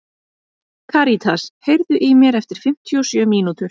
Karítas, heyrðu í mér eftir fimmtíu og sjö mínútur.